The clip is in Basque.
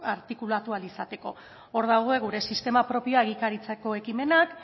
artikulatu ahal izateko hor dago gure sistema propioa egikaritzeko ekimenak